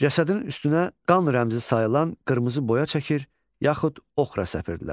Cəsədin üstünə qan rəmzi sayılan qırmızı boya çəkir, yaxud oxra səpirdilər.